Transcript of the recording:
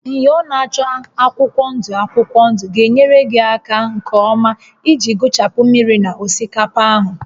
Myọ na-acha akwụkwọ ndụ akwụkwọ ndụ ga-enyere gị aka nke ọma iji gụchapụ mmiri na osikapa ahụ